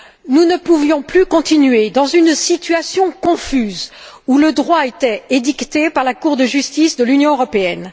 Nous ne pouvions plus continuer dans une situation confuse où le droit était édicté par la Cour de justice de l'Union européenne.